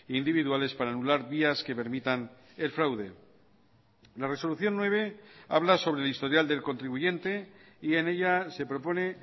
individuales para anular vías que permitan el fraude la resolución nueve habla sobre el historial del contribuyente y en ella se propone